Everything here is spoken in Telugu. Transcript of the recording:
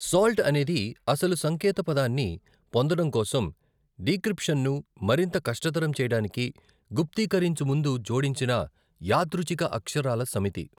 సాల్ట్' అనేది అసలు సంకేతపదాన్ని పొందడం కోసం డిక్రిప్షన్ను మరింత కష్టతరం చేయడానికి గుప్తీకరించు ముందు జోడించిన యాదృచ్ఛిక అక్షరాల సమితి.